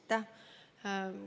Aitäh!